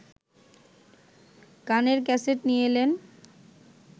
গানের ক্যাসেট নিয়ে এলেন